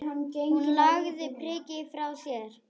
Hún lagði prikið frá sér.